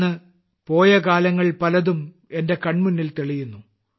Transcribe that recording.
ഇന്ന് പോയകാലങ്ങൾ പലതും എന്റെ കൺമുന്നിൽ തെളിയുന്നു